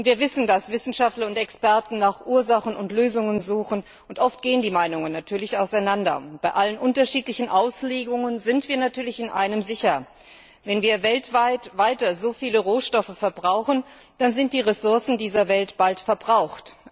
Wir wissen, dass Wissenschaftler und Experten nach Ursachen und Lösungen suchen, und natürlich gehen die Meinungen oft auseinander. Bei allen unterschiedlichen Auslegungen sind wir in einem sicher Wenn wir weiter weltweit so viele Rohstoffe verbrauchen, dann sind die Ressourcen dieser Welt bald verbraucht.